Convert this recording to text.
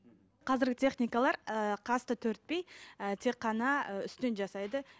қазіргі техникалар ы қасты тек қана ы үстінен жасайды